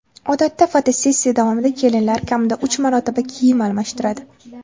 Odatda fotosessiya davomida kelinlar kamida uch marotaba kiyim almashtiradi.